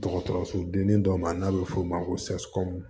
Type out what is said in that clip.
Dɔgɔtɔrɔso denni dɔ ma n'a bɛ f'o ma ko